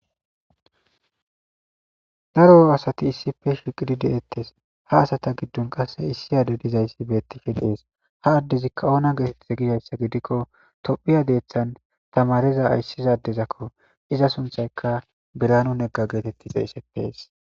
Daro asati issife shiqidi de7ettes ha asata giddun qasse issi ade dizayssi beettife deees ha addezikka oona geetetts gishayssa gidikko tophiya deethan tamareza ayssizadezakko iza sunthayka biranu negga geetetti xeessetees.